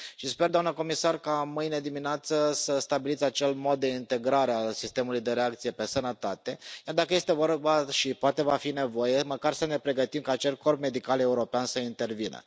Și sper, doamna comisar, ca mâine dimineață să stabiliți acel mod de integrare a sistemului de reacție pe sănătate, chiar dacă este vorba, și poate va fi nevoie, măcar să ne pregătim ca acel corp medical european să intervină.